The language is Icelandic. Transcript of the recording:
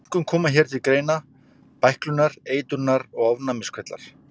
Einkum koma hér til greina bæklunar-, eitrunar- og ofnæmiskvillar.